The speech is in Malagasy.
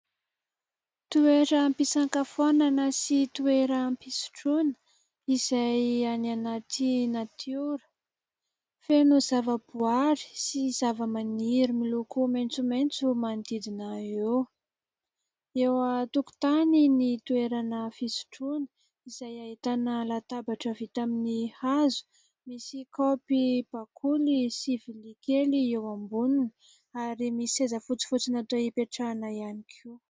Toeram-pisankafoanana sy toeram-pisotroana izay any anaty natiora, feno zavaboary sy zavamaniry miloko maitsomaitso manodidina eo. Eo an-tokotany ny toerana fisotroana izay ahitana : latabatra vita amin'ny hazo, misy kaopy bakoly sy vilia kely eo amboniny ary misy seza fotsifotsy natao hipetrahana ihany koa.